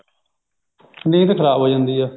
ਨੀਂਦ ਖ਼ਰਾਬ ਹੋ ਜਾਂਦੀ ਹੈ